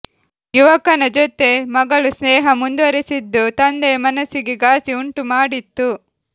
ಯುವಕನ ಜೊತೆ ಮಗಳು ಸ್ನೇಹ ಮುಂದುವರೆಸಿದ್ದು ತಂದೆಯ ಮನಸ್ಸಿಗೆ ಗಾಸಿ ಉಂಟು ಮಾಡಿತ್ತು